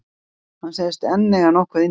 Hann segist enn eiga nokkuð inni.